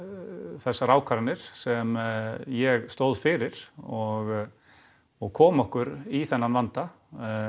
þessar ákvarðanir sem ég stóð fyrir og og kom okkur í þennan vanda